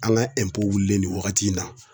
An ka wulilen nin wagati in na.